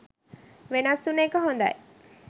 වෙනස් වුන එක හොඳයි.